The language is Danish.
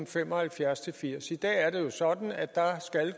fem og halvfjerds til firs år i dag er det jo sådan at